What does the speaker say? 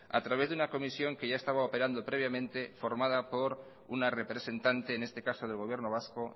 a través de una comisión que ya estaba operando previamente formada por una representante en este caso del gobierno vasco